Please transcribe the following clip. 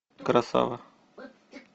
красава